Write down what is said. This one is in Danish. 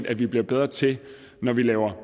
at vi bliver bedre til når vi laver